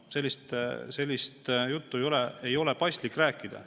Sellist juttu ei ole paslik rääkida.